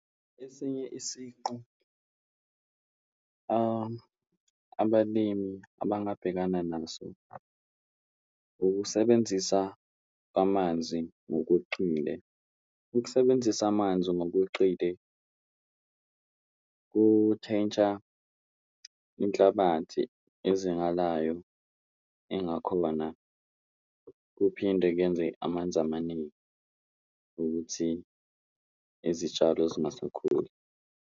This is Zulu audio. Esinye isiqu abalimi abangabhekana naso ukusebenzisa kwamanzi ngokweqile, ukusebenzisa amanzi ngokweqile kutshentsha inhlabathi ezingalayo engakhona, kuphinde kuyenze amanzi amaningi ukuthi izitshalo zingasakhuli.